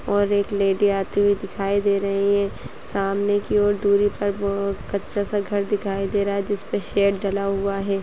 और एक लैडी आती हुई दिखाई दे रही है सामने की ओर दूरी पर वह कच्चा-सा घर दिखाई दे रहा है जिस पे शैड डाला हुआ है।